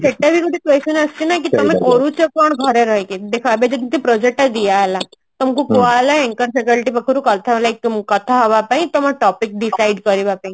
ସେଟା ବି ଗୋଟେ ତମେ କରୁଛ କଣ ଘରେ ରହିକି ଦେଖ ଏବେ ଯେମତି project ଟା ଦିଆ ହେଲା ତୁମକୁ କୁହାଗଲା anchor faculty ପାଖରୁ କଥା ହୁଅ like ତମକୁ କଥା ହବା ପାଇଁ ତମ topic decide କରିବା ପାଇଁ